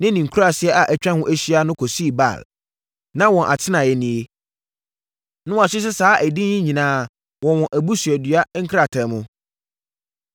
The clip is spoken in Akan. ne ne nkuraaseɛ a atwa ho ahyia no kɔsii Baal. Na wɔn atenaeɛ nie, na wɔahyehyɛ saa edin yi nyinaa wɔ wɔn abusuadua nkrataa mu.